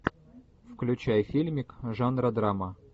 включай фильмик жанра драма